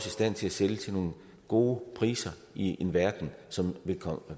i stand til at sælge til nogle gode priser i en verden som